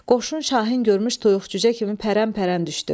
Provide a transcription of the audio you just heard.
Qoşun şahin görmüş toyuq cücə kimi pərəmpərəm düşdü.